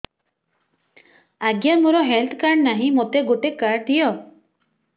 ଆଜ୍ଞା ମୋର health card ନାହିଁ ମୋତେ ଗୋଟେ କାର୍ଡ ଦିଅ